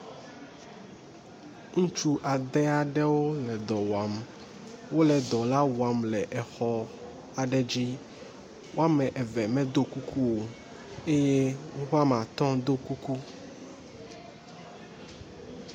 Ŋutsu adea ɖewo le dɔ wɔam. Wole dɔ la wɔam le xɔ aɖe dzi. Woame eve medo kuku o eye woƒe woame atɔ̃ wodo kuku.